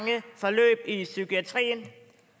ikke i psykiatrien